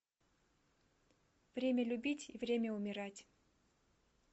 время любить и время умирать